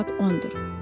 Saat 10-dur.